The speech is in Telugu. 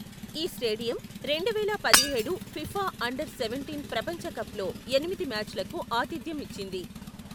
ఈ స్టేడియం రెండువేల పదిహేడు ఫిఫా అండర్ సెవెంటీన్ ప్రపంచ కప్లో ఎనిమిది మ్యాచ్లకు ఆతిథ్యం ఇచ్చింది.